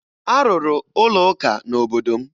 A rụrụ ụlọụka n'obodo m.